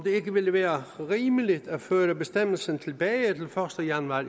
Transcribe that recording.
ikke ville være rimeligt at føre bestemmelsen tilbage til første januar